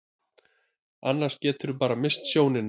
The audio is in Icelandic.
Annars geturðu bara misst sjónina.